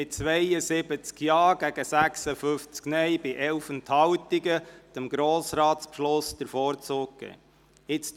Sie haben mit 72 Ja- gegen 56 Nein-Stimmen bei 11 Enthaltungen dem Grossratsbeschluss den Vorzug gegeben.